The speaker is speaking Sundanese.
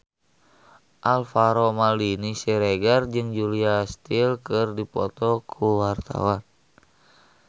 Alvaro Maldini Siregar jeung Julia Stiles keur dipoto ku wartawan